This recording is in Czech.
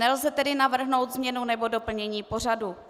Nelze tedy navrhnout změnu nebo doplnění pořadu.